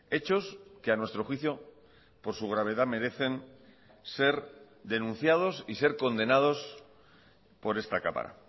hechos que a nuestro juicio por su gravedad merecen ser denunciados y ser condenados por esta cámara